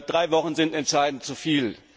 Drei Wochen sind entschieden zuviel!